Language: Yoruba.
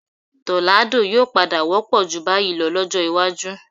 Tọ́ládò yóò padà wọ́pọ̀ ju báyìí lọ lọ́jọ́ iwájú